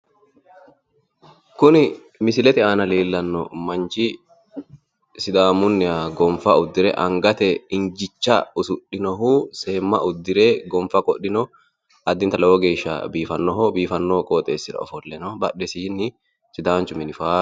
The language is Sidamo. Kuni misilete aana leellanno manchi sidaamunniha gonfa uddire angate injicha usudhinohu seemma uddire gonfa qidhinohu addinta lowo geeshsha biifannoho biifanno qoxeessira ofolle no badhesiinni sidaanchu mini faayyu